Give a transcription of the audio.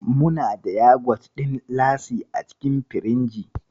Muna da yagwat ɗin Lassi a cikin firinji.